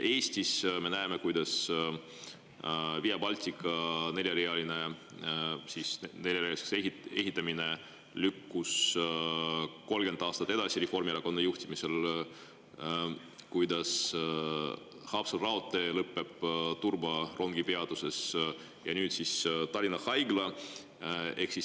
Eestis me näeme, kuidas Via Baltica neljarealiseks ehitamine lükkus 30 aastat edasi Reformierakonna juhtimisel, kuidas Haapsalu raudtee lõpeb Turba rongipeatuses, ja nüüd siis Tallinna Haigla.